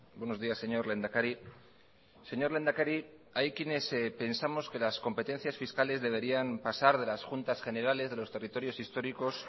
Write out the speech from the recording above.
buenos días señor lehendakari señor lehendakari hay quienes pensamos que las competencias fiscales deberían pasar de las juntas generales de los territorios históricos